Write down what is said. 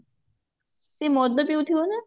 ସେ ମଦ ପିଉଥିବ ନା?